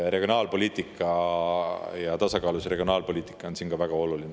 Regionaalpoliitika, just tasakaalus regionaalpoliitika on siin ka väga oluline.